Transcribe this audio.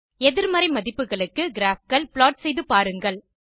எதிர்மறை மதிப்புகளுக்கு graphகள் ப்ளாட் செய்து பாருங்கள்